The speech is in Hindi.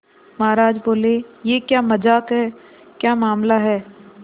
महाराज बोले यह क्या मजाक है क्या मामला है